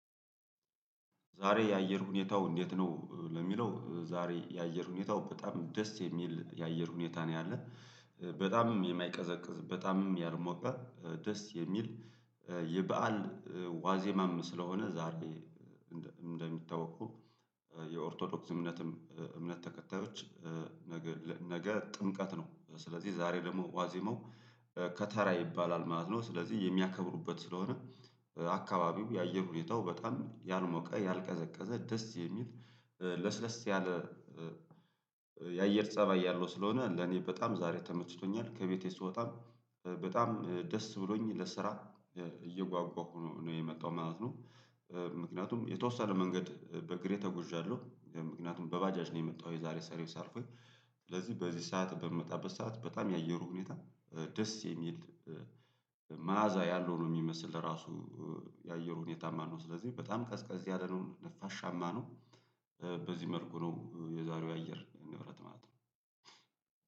ዛሬ የአየር ሁኔታው እንዴት ነው ለሚለው ዛሬ የአየር ሁኔታው በጣም ደስ የሚል የአየር ሁኔታ ነው ያለ በጣምም የማይቀዘቅዝ በጣምም ያልሞቀ ደስ የሚል የበአል ዋዜማም ስለሆነ ዛሬ እንደሚታወቀው የኦርቶዶክስ እምነትም እምነት ተከታዮች ነገ ጥምቀት ነው ስለዚህ ዛሬ ደግሞ ዋዜመው ከተራ ይባላል ማለት ነው ስለዚህ የሚያከብሩበት ስለሆነ አካባቢው የአየር ሁኔታው በጣም ያልሞቀ ያልቀዘቀዘ ደስ የሚል ለስለስ ያለ የአየር ፀባይ ያለው ስለሆነ ለኔ በጣም ዛሬ ተመችቶኛል ከቤቴ ስወጣም በጣም ደስ ብሎኝ ለስራ እየጓጓሁ ነው የመጣሁ ማለት ነው፤ ምክንያቱም የተወሰነ መንገድ በእግሬ ተጎዣለሁ ምክንያቱም በባጃጅ ነው የመጣሁ የዛሬ ሰርቪስ አልፎኝ ስለዚህ በዚህ ሰዓት በምመጣበት ሰዓት በጣም የአየሩ ሁኔታ ደስ የሚል መዓዛ ያለው ነው የሚመስል ራሱ የአየር ሁኔታ ማለት ነው ስለዚህ በጣም ቀዝ ቀዝ ያለ ነው ነፋሻማ ነው በዚህ መልኩ ነው የዛሬው አየር ንብረት ማለት ነው።